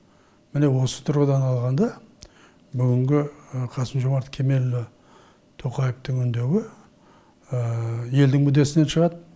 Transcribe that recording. міне осы тұрғыдан алғанда бүгінгі қасым жомарт кемелұлы тоқаевтың үндеуі елдің мүддесінен шығады